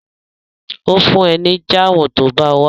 Ó fún ẹ ní jáàmù tó bá wá